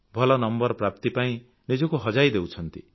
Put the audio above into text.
ଭଲ ନମ୍ବର ପ୍ରାପ୍ତି ପାଇଁ ନିଜକୁ ହଜାଇ ଦେଉଛନ୍ତି